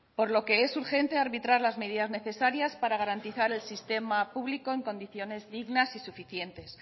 por lo que es urgente arbitrar las medidas necesarias para garantizar el sistema público en condiciones dignas y suficientes